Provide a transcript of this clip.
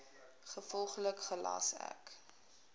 gevolglik gelas ek